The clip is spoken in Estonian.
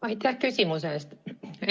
Aitäh küsimuse eest!